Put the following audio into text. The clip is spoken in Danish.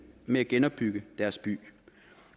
med at genopbygge deres by